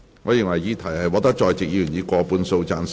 我認為議題獲得在席議員以過半數贊成。